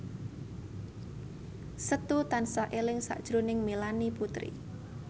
Setu tansah eling sakjroning Melanie Putri